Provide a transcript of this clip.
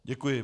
Děkuji.